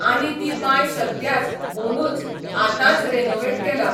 आनी ती बांय सद्याच, ओनूच, आतांच रॅनोवेट केला.